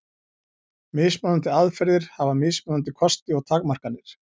Mismunandi aðferðir hafa mismunandi kosti og takmarkanir.